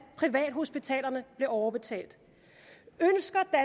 privathospitalerne blev overbetalt